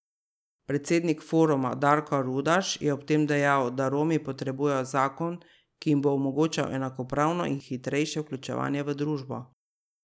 Predsednik foruma Darko Rudaš je ob tem dejal, da Romi potrebujejo zakon, ki jim bo omogočal enakopravno in hitrejše vključevanje v družbo.